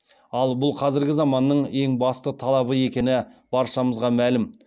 ал бұл қазіргі заманның ең басты талабы екені баршамызға мәлім